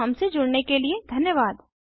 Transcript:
हमसे जुड़ने के लिए धन्यवाद